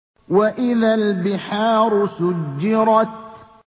وَإِذَا الْبِحَارُ سُجِّرَتْ